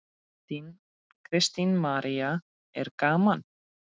Kristín María: Er gaman?